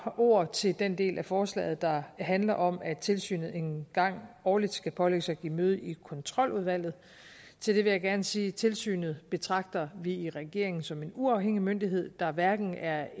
ord til den del af forslaget der handler om at tilsynet en gang årligt skal pålægges at give møde i kontroludvalget til det vil jeg gerne sige at tilsynet betragter vi i regeringen som en uafhængig myndighed der hverken er